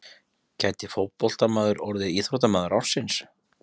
Gæti fótboltamaður orðið íþróttamaður ársins?